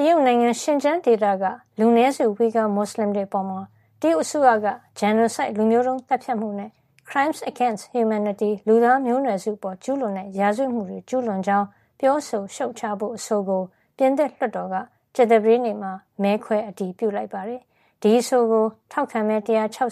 တရုတ်နိုင်ငံ ရှင်ကျန်းဒေသကလူနည်းစု ဝှီဂါမွတ်လင်တွေ အပေါ် တရုတ်အစိုးရက genocide လူမျိုးတုံးသတ်ဖြတ်မှုနဲ့ crimes against humanityလူသားမျိုးနွယ်စုအပေါ် ကျူးလွန်တဲ့ ရာဇဝတ်မှုတွေ ကျူးလွန်ကြောင်း ပြောဆိုရှုတ်ချဖို့ အဆိုကို ပြင်သစ်လွှတ်တော်က ကြာသပတေးနေ့မှာ မဲခွဲအတည်ပြုလိုက်ပါတယ်။ ဒီအဆိုကို ထောက်ခံမဲ ၁၆၉